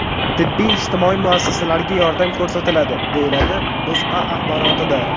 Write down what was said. Tibbiy-ijtimoiy muassasalarga yordam ko‘rsatiladi”, deyiladi O‘zA axborotida.